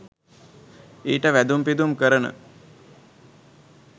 ඊට වැදුම් පිදුම් කරන